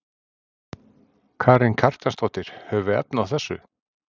Karen Kjartansdóttir: Höfum við efni á þessu?